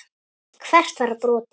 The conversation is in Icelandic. Hvert var brotið?